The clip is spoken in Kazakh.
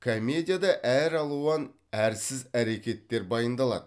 комедияда әр алуан әрсіз әрекеттер баяндалады